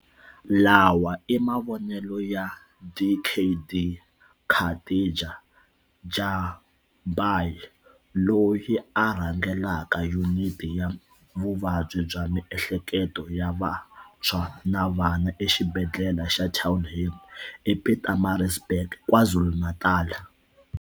Lawa i mavonelo ya Dkd Khatija Jhazbhay, loyi a rhangelaka Yuniti ya Vuvabyi bya Miehleketo ya Vantshwa na Vana eXibedhlele xa Townhill ePietermaritzburg, KwaZulu-Natal.